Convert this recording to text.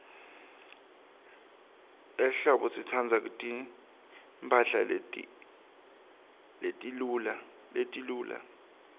ehlobo sitsandza timphahla letiluca